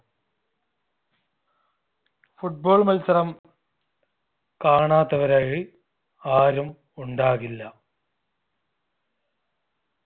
football മത്സരം കാണാത്തവരായി ആരും ഉണ്ടാകില്ല.